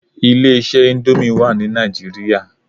Ilé iṣẹ́ íńdómì wà ní Nàìjíríà.